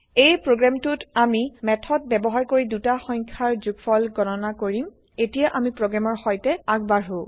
এই প্ৰগ্ৰেম টোত আমি মেথড ব্যৱহাৰ কৰি দুটা সংখ্যাৰ যোগফল গণনা কৰিম এতিয়া আমি প্ৰগ্ৰেমৰ সৈতে আগবাৰ্হো